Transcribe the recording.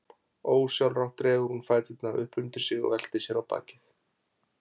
Ósjálfrátt dregur hún fæturna upp undir sig og veltir sér á bakið.